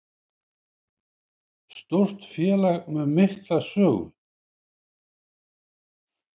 Stórt félag með mikla sögu